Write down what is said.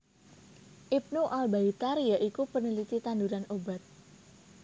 Ibnu Al Baitar ya iku peneliti tanduran obat